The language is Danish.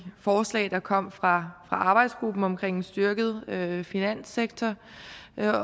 forslag der kom fra arbejdsgruppen om en styrket finanssektor